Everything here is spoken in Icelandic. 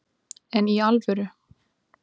En í alvöru